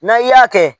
N'an y'a kɛ